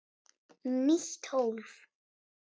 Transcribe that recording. Nýtt hólf.